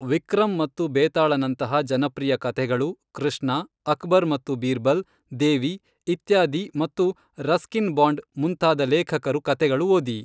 ವಿಕ್ರಮ್ ಮತ್ತು ಭೇತಾಳ ನಂತಹ ಜನಪ್ರಿಯ ಕಥೆಗಳು, ಕೃಷ್ಣ, ಅಕ್ಬರ್ ಮತ್ತು ಬೀರ್ಬಲ್, ದೇವಿ ಇತ್ಯಾದಿ ಮತ್ತು ರಸ್ಕಿನ್ ಬಾಂಡ್ ಮುಂತಾದ ಲೇಖಕರು ಕಥೆಗಳು ಓದಿ